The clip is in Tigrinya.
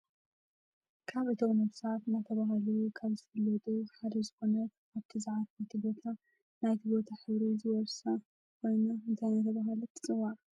ካብ እቶም ነብሳት እናተባህሉ ካብ ዝፍለጡ ሓደ ዝኮነት ኣብቲ ዝዓረፈቶ ቦታ ናይቲ ቦታ ሕብሪ ዝወርሳ ኮይነን እንታይ እናተባህለ ትፅዋዕ ?